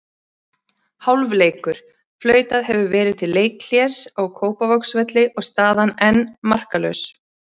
Hálfleikur: Flautað hefur verið til leikhlés á Kópavogsvelli og staðan enn markalaus.